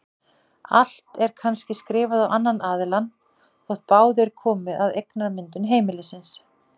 Allt er kannski skrifað á annan aðilann þótt báðir komi að eignamyndun heimilisins.